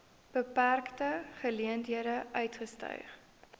beperkte geleenthede uitgestyg